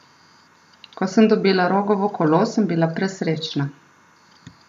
Ko sem dobila Rogovo kolo, sem bila presrečna.